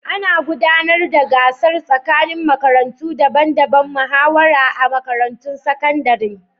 Ana gudanar da gasar tsakanin makarantu daban-daban da muhawara a makarantun sakandare.